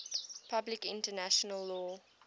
public international law